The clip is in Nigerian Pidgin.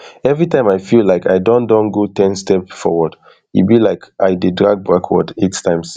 every time i feel like i don don go ten step forward e be like i dey drag backwards eight times